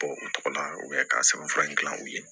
u tɔgɔ la u bɛ ka sɛbɛnfura in gilan u ye